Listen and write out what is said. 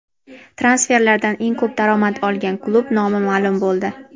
Transferlardan eng ko‘p daromad olgan klub nomi maʼlum bo‘ldi.